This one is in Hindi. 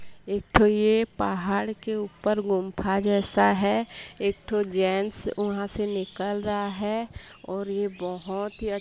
एक ठो ये पहाड़ के ऊपर गुम्फा जैसा है एक ठो जेंट्स वहां से निकल रहा है और ये बहोत--